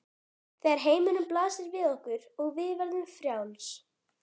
Þegar heimurinn blasir við okkur og við verðum frjáls.